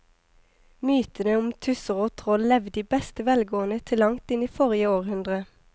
Mytene om tusser og troll levde i beste velgående til langt inn i forrige århundre.